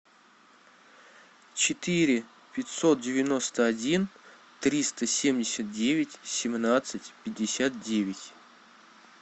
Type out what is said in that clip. четыре пятьсот девяносто один триста семьдесят девять семнадцать пятьдесят девять